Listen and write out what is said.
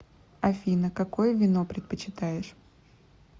афина какое вино предпочитаешь